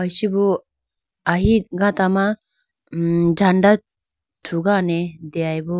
Ichibo ahi gata ma jhand thrugane deyayibo.